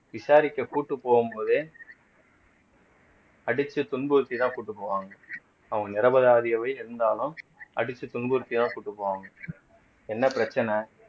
விசாரிக்க கூட்டிட்டு போகும்போதே அடிச்சு துன்புறுத்திதான் கூட்டிட்டு போவாங்க அவங்க நிரபராதியாகவே இருந்தாலும் அடிச்சு துன்புறுத்திதான் கூட்டிட்டு போவாங்க என்ன பிரச்சனை